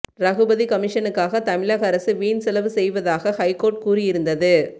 ரகுபதி கமிஷனுக்காக தமிழக அரசு வீண் செலவு செய்வதாக ஹைகோர்ட் கூறியிருந்தது